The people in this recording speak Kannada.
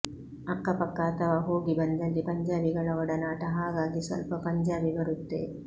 ಅಕ್ಕಪಕ್ಕ ಅಥವಾ ಹೋಗಿ ಬಂದಲ್ಲಿ ಪಂಜಾಬಿಗಳ ಒಡನಾಟ ಹಾಗಾಗಿ ಸ್ವಲ್ಪ ಪಂಜಾಬಿ ಬರುತ್ತೆ